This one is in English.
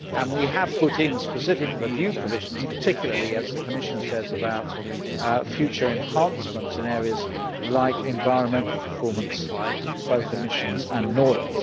We have put in specific review provisions particularly, as the Commissioner says, about future enhancements in areas like environmental performance on both emissions and noise.